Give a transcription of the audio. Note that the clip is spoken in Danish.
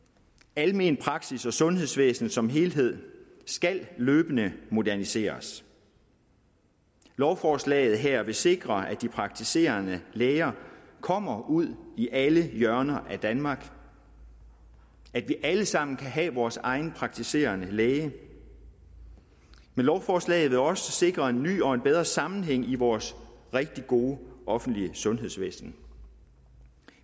almen praksis og sundhedsvæsenet som helhed skal løbende moderniseres lovforslaget her vil sikre at de praktiserende læger kommer ud i alle hjørner af danmark at vi alle sammen kan have vores egen praktiserende læge lovforslaget vil også sikre en ny og bedre sammenhæng i vores rigtig gode offentlige sundhedsvæsen